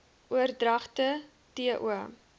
oordragte t o